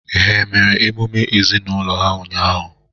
Ha e mere emume ezinaụlọ ha ụnyahụ?